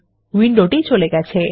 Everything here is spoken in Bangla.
উইন্ডোটি চলে গেছে